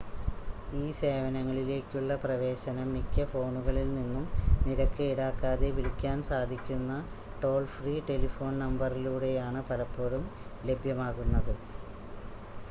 ഈ സേവനങ്ങളിലേക്കുള്ള പ്രവേശനം മിക്ക ഫോണുകളിൽ നിന്നും നിരക്ക് ഈടാക്കാതെ വിളിക്കാൻ സാധിക്കുന്ന ടോൾ ഫ്രീ ടെലിഫോൺ നമ്പറിലൂടെയാണ് പലപ്പോഴും ലഭ്യമാകുന്നത്